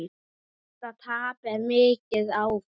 Þetta tap er mikið áfall.